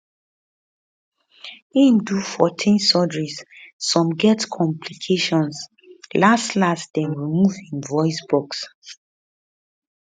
im do 14 surgeries some get complications las las dem remove um im voice box